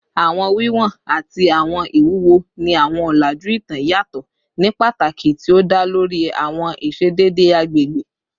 Awọn wiwọn ati awọn iwuwo ni awọn ọlaju itan yatọ ni pataki ti o da lori awọn iṣedede agbegbe